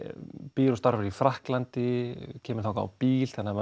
býr og starfar í Frakklandi kemur þangað á bíl þannig að